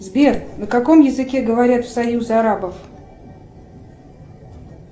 сбер на каком языке говорят в союзе арабов